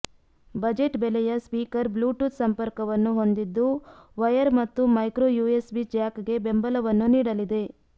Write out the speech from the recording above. budget ಬೆಲೆಯ speaker Bluetooth ಸಂಪರ್ಕವನ್ನು ಹೊಂದಿದ್ದು ವಯರ್ ಮತ್ತು ಮೈಕ್ರೋ ಯುಎಸ್ಬಿ ಜ್ಯಾಕ್ಗೆ ಬೆಂಬಲವನ್ನು ನೀಡಲಿದೆ